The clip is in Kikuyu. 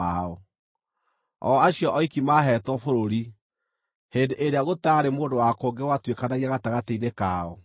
(o acio oiki maaheetwo bũrũri hĩndĩ ĩrĩa gũtaarĩ mũndũ wa kũngĩ watuĩkanagia gatagatĩ-inĩ kao):